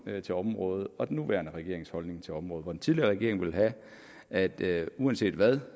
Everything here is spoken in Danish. til området og den nuværende regerings holdning til området den tidligere regering ville have at det uanset hvad